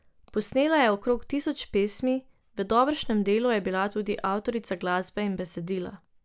Posnela je okrog tisoč pesmi, v dobršnem delu je bila tudi avtorica glasbe in besedila.